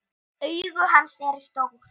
Augu hans eru stór.